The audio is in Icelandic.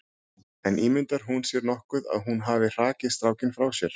En ímyndar hún sér nokkuð að hún hafi hrakið strákinn frá sér?